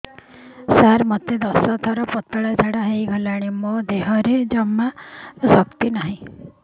ସାର ମୋତେ ଦଶ ଥର ପତଳା ଝାଡା ହେଇଗଲାଣି ମୋ ଦେହରେ ଜମାରୁ ଶକ୍ତି ନାହିଁ